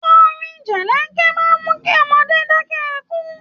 Orin jẹ̀lẹ̀ńkẹ́ máa ń mú kí ọmọdé dákẹ́ ẹkún